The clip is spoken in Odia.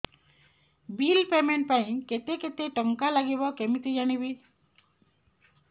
ବିଲ୍ ପେମେଣ୍ଟ ପାଇଁ କେତେ କେତେ ଟଙ୍କା ଲାଗିବ କେମିତି ଜାଣିବି